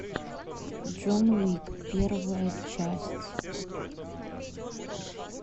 джон уик первая часть